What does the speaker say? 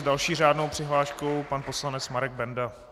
S další řádnou přihláškou pan poslanec Marek Benda.